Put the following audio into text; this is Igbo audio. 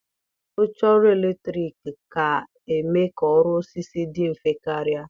Oche ọrụ eletrọnịkị ga-eme ka ọrụ osisi dị mfe karịa.